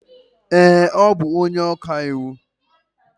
ee, ọ bụ onye ọka iwu.